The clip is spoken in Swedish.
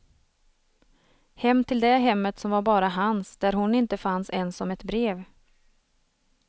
Hem till det hemmet som var bara hans, där hon inte fanns ens som ett brev.